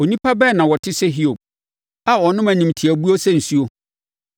Onipa bɛn na ɔte sɛ Hiob a ɔnom animtiabuo sɛ nsuo?